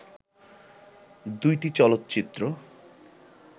দুইটি চলচ্চিত্র